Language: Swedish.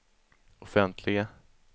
offentliga